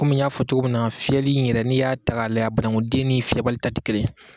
komi min y'a fɔ cogo min na fiyɛli in yɛrɛ ni y'a ta k'a layɛ a banakuden ni fiyɛbali ta ti kelen ye.